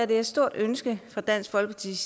det er et stort ønske fra dansk folkeparti